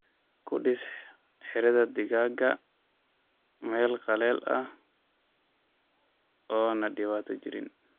Kudiis xiradhaa digaaga mel qaleel ah oo na dibato jiriin.